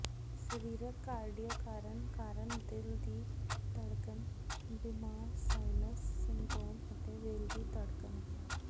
ਸਰੀਰਕ ਕਾਰਡੀਓ ਕਾਰਨ ਕਾਰਨ ਦਿਲ ਦੀ ਧੜਕਣ ਬਿਮਾਰ ਸਾਈਨਸ ਸਿੰਡਰੋਮ ਅਤੇ ਦਿਲ ਦੀ ਧੜਕਣ ਹੈ